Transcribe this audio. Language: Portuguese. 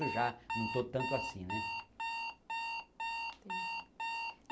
já não estou tanto assim né.